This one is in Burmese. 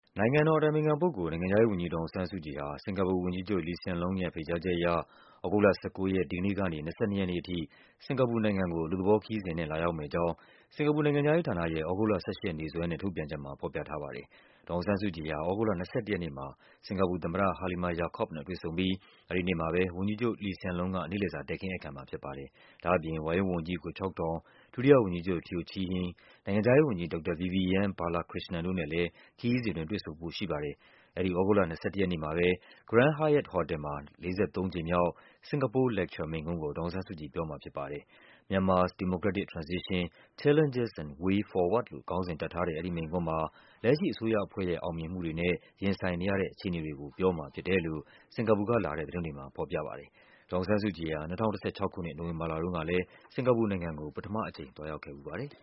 နိုင်ငံတော်အတိုင်ပင်ခံပုဂ္ဂိုလ်၊ နိုင်ငံခြားရေးဝန်ကြီး ဒေါ်အောင်ဆန်းစုကြည်ဟာ စင်္ကာပူဝန်ကြီးချုပ် Lee Hsien Loong ရဲ့ ဖိတ်ကြားချက်အရ သြဂုတ်လ ၁၉ ရက်နေ့ကနေ ၂၂ ရက်နေ့အထိ စင်္ကာပူနိုင်ငံကို အလုပ်သဘောခရီးစဉ်နဲ့ လာရောက်မယ့် အကြောင်း စင်္ကာပူနိုင်ငံခြားရေးဌာနရဲ့ သြဂုတ်လ ၁၈ ရက်နေ့စွဲနဲ့ ထုတ်ပြန်ချက်မှာ ဖော်ပြထားပါတယ်။ ဒေါ်အောင်ဆန်းစုကြည်ဟာ သြဂုတ်လ ၂၁ ရက်နေ့မှာ စင်္ကာပူသမ္မတ Halimah Yacob နဲ့ တွေ့ဆုံပြီး အဲဒီနေ့မှာပဲ ဝန်ကြီးချုပ် Lee Hsien Loong က နေ့လည်စာ တည်ခင်းဧည့်ခံမှာဖြစ်ပါတယ်။ ဒါ့အပြင် ဝါရင့်ဝန်ကြီး Goh Chok Tong ၊ ဒုတိယဝန်ကြီးချုပ် Teo Chee Hean ၊ နိုင်ငံခြားရေးဝန်ကြီး ဒေါက်တာ Vivian Balakrishnan တို့နဲ့လည်း ခရီးစဉ်အတွင်း တွေ့ဆုံဖို့ရှိပါတယ်။ သြဂုတ်လ ၂၁ ရက်နေ့မှာတော့ Grand Hyatt ဟော်တယ်မှာ ၄၃ ကြိမ်မြောက် Singapore Lecture မိန့်ခွန်းကို ဒေါ်အောင်ဆန်း စုကြည် ပြောမှာဖြစ်ပါတယ်။ “Myanmar’s Democratic Transition: Challenges and Way Forward” လို့ ခေါင်းစဉ်တပ်ထား တဲ့ အဲဒီမိန့်ခွန်းမှာ လက်ရှိအစိုးရအဖွဲ့ရဲ့ အောင်မြင်မှုတွေနဲ့ ရင်ဆိုင်နေရတဲ့ အခြေအနေတွေကို ပြောမှာဖြစ်တယ်လို့ စင်္ကာပူက လာတဲ့သတင်းတွေမှာ ဖော်ပြပါတယ်။ ဒေါ်အောင်ဆန်းစုကြည်ဟာ ၂၀၁၆ ခုနှစ် နိုဝင်ဘာလတုန်းကလည်း စင်္ကာပူနိုင်ငံကို ပထမအကြိမ် သွားရောက်ခဲ့ဖူးပါတယ်။